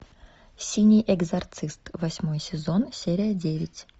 синий экзорцист восьмой сезон серия девять